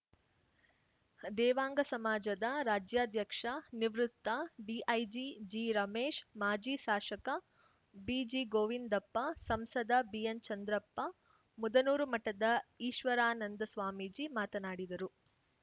ದೇವಾಂಗ ಸಮಾಜದ ರಾಜ್ಯಾಧ್ಯಕ್ಷ ನಿವೃತ್ತ ಡಿಐಜಿ ಜಿರಮೇಶ್‌ ಮಾಜಿ ಶಾಷಕ ಬಿಜಿಗೋವಿಂದಪ್ಪ ಸಂಸದ ಬಿಎನ್‌ಚಂದ್ರಪ್ಪ ಮುದನೂರು ಮಠದ ಈಶ್ವರಾನಂದ ಸ್ವಾಮೀಜಿ ಮಾತನಾಡಿದರು